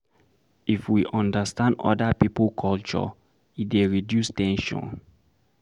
If we understand oda pipo culture e dey reduce ten sion